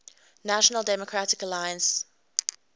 national democratic alliance